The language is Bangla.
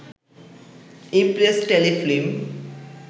Impress Telefilm